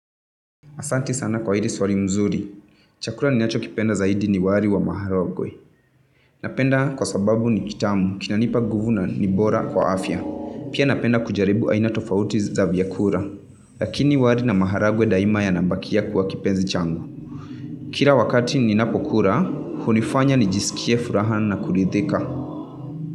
Asanti sana kwa hili swali nzuri. Chakula ninacho kipenda zaidi ni wali wa maharagwe Napenda kwa sababu ni kitamu, kinanipa nguvu ni bora kwa afya. Pia napenda kujaribu aina tofauti za vyakula. Laki ni wali na maharagwe daima yanabakia kuwa kipenzi changu. Kila wakati ni napokula, hunifanya ni jiskie furaha na kuridhika.